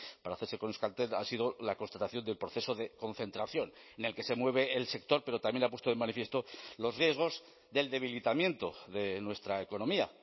para hacerse con euskaltel ha sido la constatación del proceso de concentración en el que se mueve el sector pero también ha puesto de manifiesto los riesgos del debilitamiento de nuestra economía